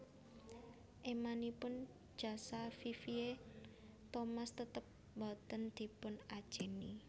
Émanipun jasa Vivien Thomas tetep boten dipun ajèni